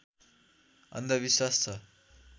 अन्धविश्वास छ